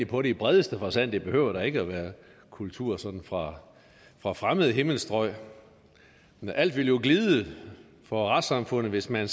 på det i bredeste forstand og det behøver da ikke at være kultur sådan fra fra fremmede himmelstrøg alt ville jo glide for retssamfundet hvis man